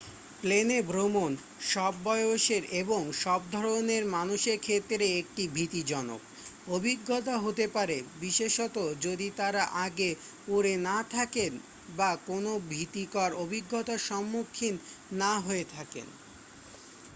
প্লেনে ভ্রমণ সব বয়সের এবং সব ধরণের মানুষের ক্ষেত্রে একটি ভীতিজনক অভিজ্ঞতা হতে পারে বিশেষত যদি তারা আগে উড়ে না থাকেন বা কোনও ভীতিকর অভিজ্ঞতার সম্মুখীন না হয়ে থাকেন